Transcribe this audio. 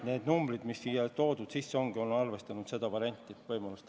Nende numbrite puhul, mis kirjas on, ongi arvestanud seda võimalust.